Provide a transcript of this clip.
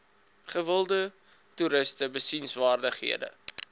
gewilde toeriste besienswaardighede